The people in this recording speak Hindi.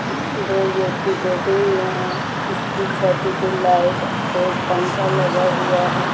दो व्यक्ति बैठे हुए हैं इसकी छत की लाइट और पंख लगा हुआ है।